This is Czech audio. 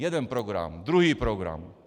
Jeden program, druhý program!